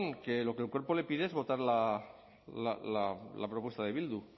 que el cuerpo le pide es votar la propuesta de bildu